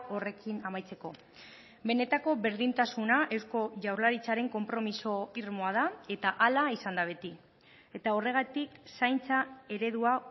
horrekin amaitzeko benetako berdintasuna eusko jaurlaritzaren konpromiso irmoa da eta hala izan da beti eta horregatik zaintza eredua